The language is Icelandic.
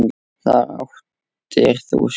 Þar áttir þú skjól.